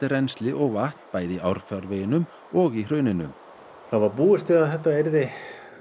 rennsli og vatn bæði í árfarveginum og í hrauninu það var búist við því að þetta yrði